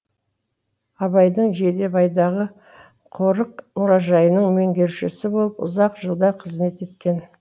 абайдың жидебайдағы қорық мұражайының меңгерушісі болып ұзақ жылдар қызмет еткен